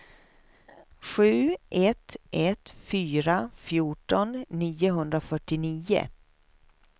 sju ett ett fyra fjorton niohundrafyrtionio